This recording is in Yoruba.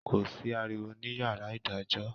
Ko si àriwo ni yàrá idàjọ